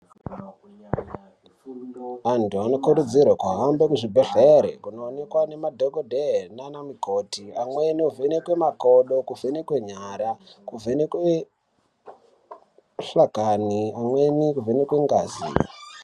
Antu anokurudzirwe kuhambe muzvibhedhlere kundoonekwa nemadhokodheya nana mukoti, amweni ovhenekwa makodo, kuvhenekwa nyara, kuvhenekwe muhlakani, amweni kuvhenekwe ngazi.